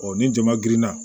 ni jama girinna